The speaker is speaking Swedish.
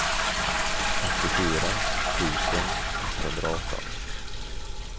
åttiofyra tusen etthundraarton